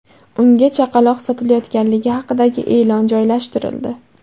Unga chaqaloq sotilayotganligi haqidagi e’lon joylashtirildi.